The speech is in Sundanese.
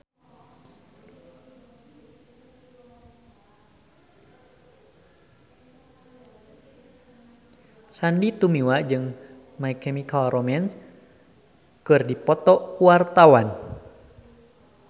Sandy Tumiwa jeung My Chemical Romance keur dipoto ku wartawan